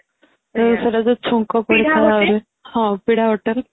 ଛୁଙ୍କ ହୁଏ ପିଢା hotel